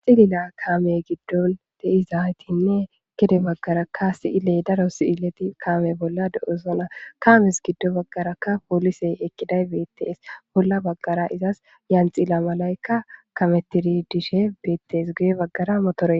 Cilila kaame gidon de'izaytinne gede bagaraka si'iley daro si'ilet kaame bolla de'osona, kames gido bagaraka polisey eqiday betes, bola bagara izas yanxila malayka kametid Dishe betes, guye bagara motorey...